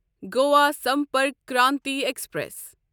Goa Sampark Kranti express